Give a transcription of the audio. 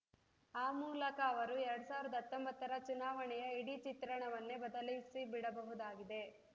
ಆ ಮೂಲಕ ಅವರು ಎರಡ್ ಸಾವಿರದ ಹತ್ತೊಂಬತ್ತರ ಚುನಾವಣೆಯ ಇಡೀ ಚಿತ್ರಣವನ್ನೇ ಬದಲಿಸಿಬಿಡಬಹುದಾಗಿದೆ